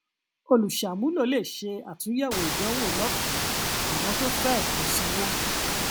olùṣàmúlò lè ṣe àtúnyẹwò ìdánwò lọfẹẹ àwọn tó fẹ ẹkọ sanwó